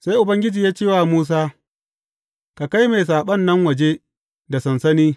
Sai Ubangiji ya ce wa Musa, Ka kai mai saɓon nan waje da sansani.